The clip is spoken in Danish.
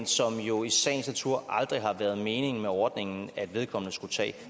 som det jo i sagens natur aldrig har været meningen med ordningen at vedkommende skulle tage